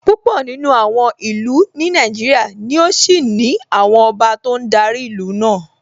Púpọ̀ nínú àwọn ìlú ní Nàìjíríà ni ó ṣì ní àwọn ọba tó ń darí ìlú náà